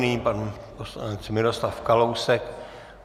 Nyní pan poslanec Miroslav Kalousek.